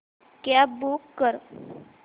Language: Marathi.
कॅब बूक कर